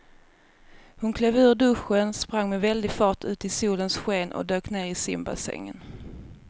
Hon klev ur duschen, sprang med väldig fart ut i solens sken och dök ner i simbassängen.